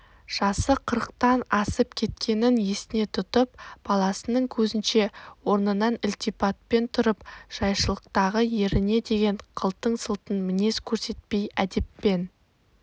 жасы қырықтан асып кеткенін есіне тұтып баласының көзінше орнынан ілтипатпен тұрып жайшылықтағы еріне деген қылтың-сылтың мінез көрсетпей әдеппен